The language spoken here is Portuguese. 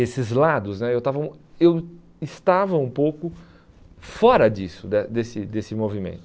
Esses lados né, eu estavam eu estava um pouco fora disso, da desse desse movimento.